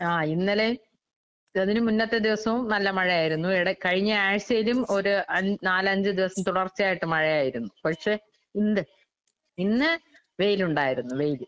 ആഹ് ഇന്നലേം അതിന് മുന്നത്തെ ദിവസോം നല്ല മഴയായിരുന്നു. ഇവടെ കഴിഞ്ഞ ആഴ്ച്ചേലും ഒര് അൻ നാലഞ്ച് ദിവസം തുടർച്ചയായിട്ട് മഴയായിരുന്നു. പക്ഷെ ഇന്ത് ഇന്ന് വെയിലുണ്ടായിരുന്നു വെയില്.